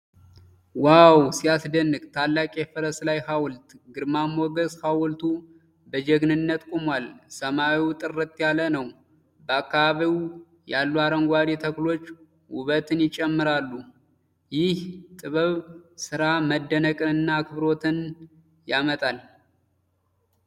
ዋው ሲያስደንቅ! ታላቅ የፈረስ ላይ ሐውልት! ግርማ ሞገስ! ሐውልቱ በጀግንነት ቆሟል፤ ሰማዩ ጥርት ያለ ነው። በአካባቢው ያሉ አረንጓዴ ተክሎች ውበትን ይጨምራሉ። ይህ የጥበብ ሥራ መደነቅንና አክብሮትን ያመጣል!